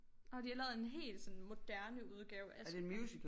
Nåh de har lavet en hel sådan morderne udgave af Askepot